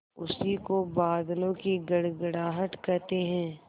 उसी को बादलों की गड़गड़ाहट कहते हैं